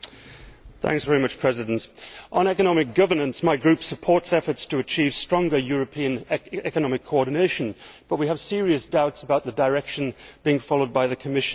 Mr President, on economic governance, my group supports efforts to achieve stronger European economic coordination, but we have serious doubts about the direction being followed by the Commission and Council.